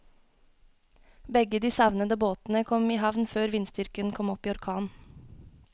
Begge de savnede båtene kom i havn før vindstyrken kom opp i orkan.